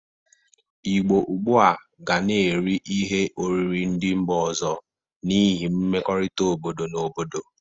Igbo ọgbụa ga na-eri ihe oriri ndị mba ọzọ n'ihi mmekorita obodo na obodo.